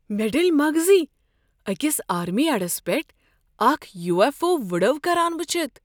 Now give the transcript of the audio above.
مےٚ ڈٔلۍ مغزٕے أکس آرمی اڑس پیٹھٕ اکھ یوٗ ایف او وڈو کران وٕچھتھ۔